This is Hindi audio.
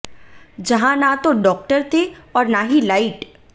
जहां ना तो डॉक्टर थे और ना ही लाइट